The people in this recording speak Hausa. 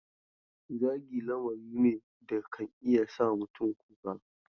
Zagi lamari ne da kan iya sa mutane kuka.